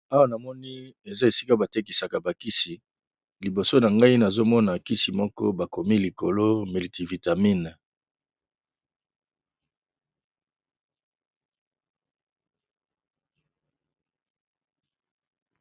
Awa na moni eza esika batekisaka bakisi liboso na ngai nazomona nkisi moko bakomi likolo melitivitamine.